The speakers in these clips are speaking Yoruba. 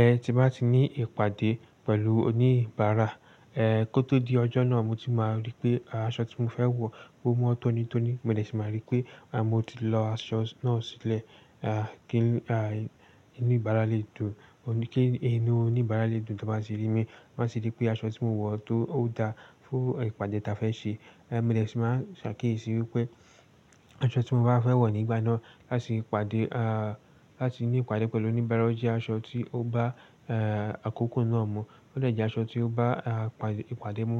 Ẹh, tí bá ti ní ìpàdé pẹ̀lú oníbàárà, eh kó tó di ọjọ́ náà mo ti máa rí pé aṣọ tí mo fẹ́ wọ̀ o mọ tónítóní, mo sì máa rí pé mo ti lọ aṣọ náà sílẹ̀ ah kí ah inú ìbára lè dùn, kí inú oníbàárà lè dùn tó bá tì rí mí. To báa tì rí pé aṣọ tí mo wọ̀ tó ó da fún ìpàdé ta fẹ́ ṣe. Eh mo dè sì máa ṣàkíyèsí wípé aṣọ tí mo bá fẹ́ wọ̀ nígbà náà láti ìpàdé ah láti ní ìpàdé pẹ̀lú oníbàárà jẹ́ aṣọ tí ó bá eh àkókò náà mú. Ó lè jẹ́ aṣọ tí ó bá ah ìpàdé mú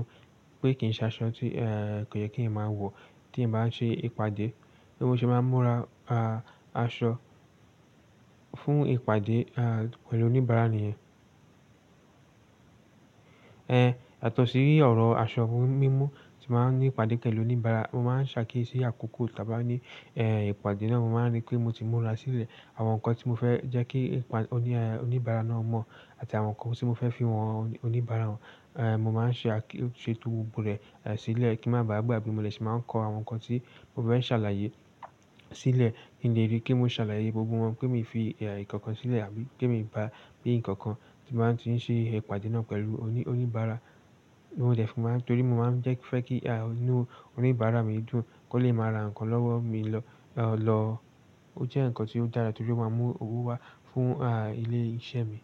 pé kì ń ṣe aṣọ tí eh kò yẹ kín máa wọ̀ tí i bá n ṣe ìpàdé. So bo ṣe máa n múra ah aṣọ fún ìpàdé ah pẹ̀lú oníbàárà nìyẹn. Eh yàtọ̀ sí ọ̀rọ̀ aṣọ mímú tí bàá ní ìpàdé pẹ̀lú oníbàárà, mo máa ń ṣàkíyèsí àkókò ta bá ní eh ìpàdé náà, mo máa ń rí pé mo ti múra sílẹ̀ àwọn nǹkan tí mo fẹ́ jẹ́ kí oní oníbàárà náà mọ̀ àti àwọn nǹkan tí mo fẹ́ fi hàn oníbàárà wa. Eh mo máa ń ṣe àk-- ṣe to gbọ̀gbo rẹ̀ eh sílẹ̀ kí ń má ba à gbagbe mo dè sì máa ń kọ àwọn nǹkan tí mo fẹ́ ṣàlàyé sílẹ̀ kin lé rí pe mo ṣàlàyé gbogbo wọn pé mi i fi eh nǹkankan sílẹ̀ àbí pe mi i gbágbe nǹkankan tí n ba ti ń ṣe ìpàdé náà pẹ̀lú oní oníbàárà. Mo dè sì máa-- torí mo máa ń jẹ́ fẹ́ kí ah inú oníbàárà mi dùn kó lè máa ra nǹkan lọ́wọ́ mi lọ lọ. Ó jẹ́ nǹkan tí ó dára torí ó máa mú owó wá fún ah ilé iṣẹ́ mi.